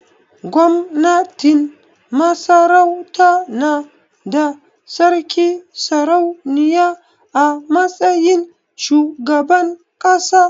Gwamnatin Masarauta na da Sarki/Sarauniya a matsayin shugaban ƙasa.